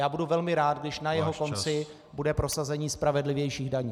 A budu velmi rád, když na jeho konci bude prosazení spravedlivějších daní.